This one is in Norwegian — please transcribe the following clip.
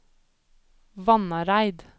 Vannareid